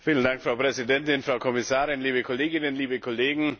Frau Präsidentin, Frau Kommissarin, liebe Kolleginnen, liebe Kollegen!